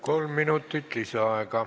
Kolm minutit lisaaega.